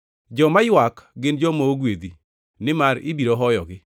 Joma ywak gin joma ogwedhi, nimar ibiro hoyogi.